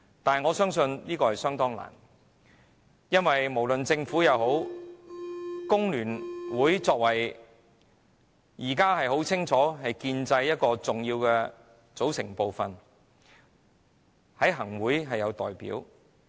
不過，我相信此事很難做到，因為不論政府......工聯會現時顯然是建制派的重要組成部分，它在行政會議也有代表。